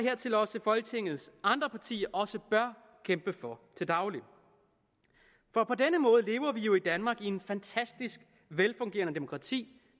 folketingets andre partier også bør kæmpe for til daglig for på denne måde lever vi jo i danmark i et fantastisk velfungerende demokrati